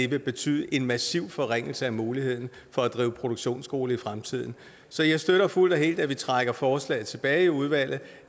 vil betyde en massiv forringelse af muligheden for at drive produktionsskole i fremtiden så jeg støtter fuldt og helt at vi trækker forslaget tilbage i udvalget